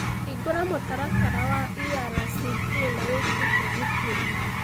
hingũra mũtaratara wa irct na wĩtiĩ tigiti